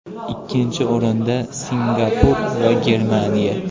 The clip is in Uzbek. Ikkinchi o‘rinda – Singapur va Germaniya.